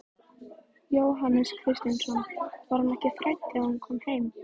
Jóhannes Kristjánsson: Var hún ekki hrædd þegar hún kom heim?